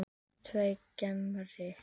Dverghamri